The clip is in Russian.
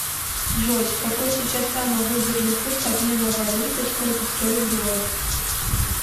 джой какой сейчас самый выгодный курс обмена валюты сколько стоит доллар